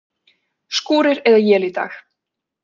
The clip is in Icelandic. Skúrir eða él í dag